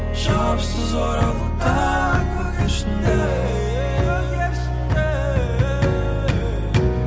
жауапсыз оралыңдар көгершіндер көгершіндер